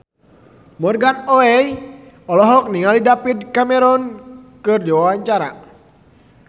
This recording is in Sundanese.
Morgan Oey olohok ningali David Cameron keur diwawancara